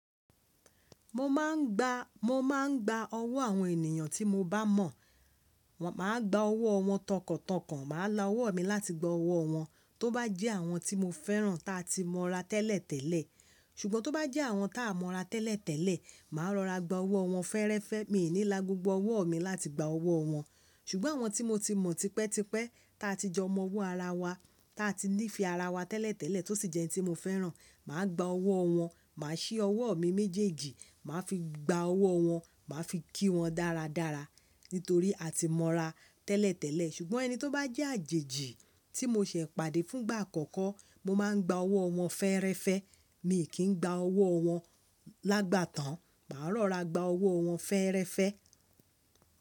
Mo má a ń gba, mo má a ń gba ọwọ́ àwọn ènìyàn tí mo bá mọ̀. Máa gba ọwọ́ wọn tọkàntọkàn, màá la ọwọ́ mi láti gba ọwọ́ wọn. Tóbá jẹ́ àwọn tí mo fẹ́ràn ta ti mọ ra tẹ́lẹ̀tẹ́lẹ̀. Ṣùgbọ́n tó bá jẹ́ àwọn táa mọ ra tẹ́lẹ̀tẹ́lẹ̀, màá rọra gba ọwọ́ wọn fẹ́ẹ́rẹ́fẹ́. Mi ò ní la gbogbo ọwọ́ mi láti gba ọwọ́ wọn. Ṣùgbọ́n àwọn tí mo ti mọ̀ tipẹ́tipẹ́ ta ti jọmọ́ ọwọ́ ara wa, ta ti nífe ara wa tẹ́lẹ̀tẹ́lẹ̀ tó sì jẹ́ ẹni tí mo fẹ́ràn, màá gba ọwọ́ wọn, màá ṣí ọwọ́ mi méjèèjì, màá fi gba ọwọ́ wọn, màá fi kí wọn dáradára. Nítorí a ti mọra tẹ́lẹ̀tẹ́lẹ̀. Ṣùgbọ́n ẹni tó bá jẹ́ àjèjì tí mo ṣe pàdé fún ìgbà àkọ́kọ́, mo máa ń gba ọwọ́ wọn fẹ́ẹ́rẹ́fẹ́. Mi kì í gba ọwọ́ wọn lágbà tán. Màá rọra gba ọwọ́ wọn fẹ́ẹ́rẹ́fẹ́